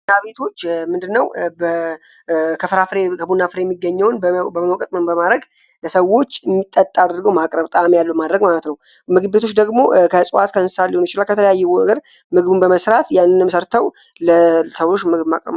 ቡና ቤቶች ምንድነው ከፍራፍሬ ከቡናፍሬ የሚገኘውን በመውቀጥ ምን በማድረግ ለሰዎች የሚጠጣ አድርገው ማቅረብ ጣእም ያለው ማድረግ ማለት ነው። ምግብ ቤቶች ደግሞ ከእጽዋት ሊሆን ይችላል ከተለያየ ነገር ምግቡን በመስራት ያንንም ምግብ ሰርተው ለሰዎች ማቅረብ ማለት ነው።